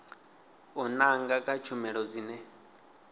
u nanga kha tshumelo dzine